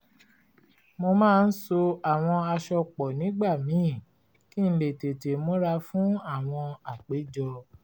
mo máa ń so àwọn aṣọ pọ̀ nígbà míì kí n lè tètè múra fún àwọn àpéjọ